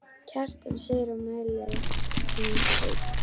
Kjartan segir og mæli hann heill.